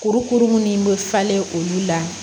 Kurukuru minnu bɛ falen olu la